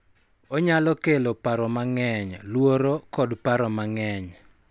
Onyalo kelo paro mang�eny, luoro, kod paro mang�eny,